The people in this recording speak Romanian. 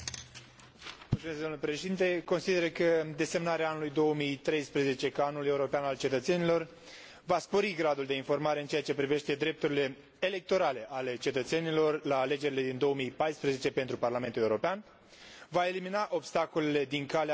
Consider că desemnarea anului 2013 ca Anul european al cetățenilor va spori gradul de informare în ceea ce privește drepturile electorale ale cetățenilor la alegerile din 2014 pentru Parlamentul European, va elimina obstacolele din calea drepturilor cetățenilor.